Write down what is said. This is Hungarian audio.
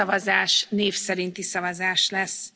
Minden szavazás név szerinti szavazás lesz.